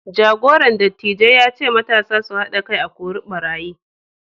jagoran dattijai ya ce matasa su hada kai a kora ɓarayi